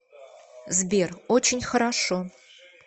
сбер очень хорошо